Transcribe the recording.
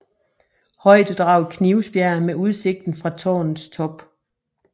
Højdedraget Knivsbjerg med udsigten fra tårnets top